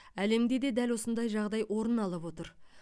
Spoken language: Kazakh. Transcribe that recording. әлемде де дәл осындай жағдай орын алып отыр